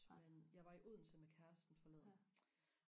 men jeg var i Odense med kæresten forleden